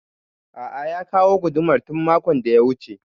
A'a ya kawo gudumar tun makon da ya wuce